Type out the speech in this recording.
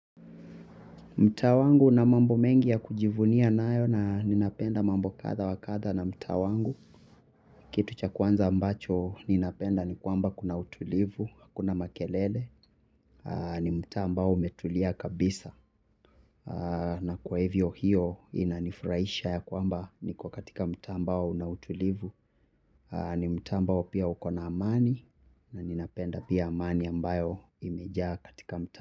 Mtaa wangu una mambo mengi ya kujivunia nayo na ninapenda mambo kadha wa kadha na mtaa wangu. Kitu cha kwanza ambacho ninapenda ni kwamba kuna utulivu, hakuna makelele. Ni mtaa ambao umetulia kabisa. Na kwa hivyo hiyo inanifurahisha ya kwamba niko katika mtaa ambao una utulivu. Ni mtaa ambao pia uko na amani na ninapenda pia amani ambayo imejaa katika mtaa.